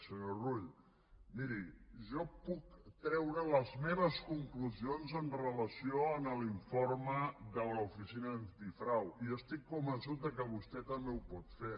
senyor rull miri jo puc treure les meves conclusions en relació amb l’informe de l’oficina antifrau i estic convençut que vostè també ho pot fer